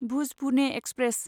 Bhuj Pune express